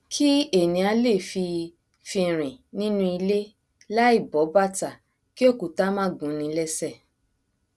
kí ènìà lè fi fi rìn nínú ilé láì bọ bàtà kí òkúta má gúnni lẹsẹ